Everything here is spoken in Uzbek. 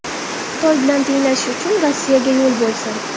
Xitoy bilan tenglashish uchun Rossiyaga yo‘l bo‘lsin!